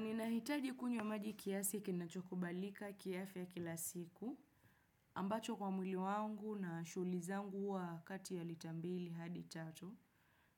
Ni nahitaji kunywa maji kiasiki na chokubalika kiafya kila siku ambacho kwa mwili wangu na shughlizangu huwa kati ya litambili hadi tatu.